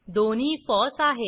दोन्ही फॉस आहेत